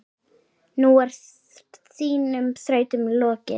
Nú er þínum þrautum lokið.